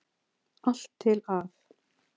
Allt til að